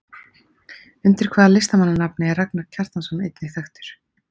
Undir hvaða listamannanafni er Ragnar Kjartansson einnig þekktur?